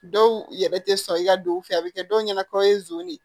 Dɔw yɛrɛ tɛ sɔn i ka don u fɛ a bɛ kɛ dɔw ɲɛna k'aw ye zon ye